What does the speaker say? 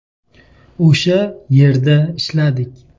O‘sha yerda ishladik.